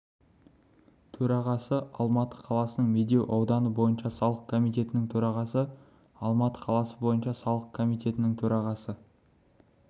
төрағасы алматы қаласының медеу ауданы бойынша салық комитетінің төрағасы алматы қаласы бойынша салық комитетінің төрағасы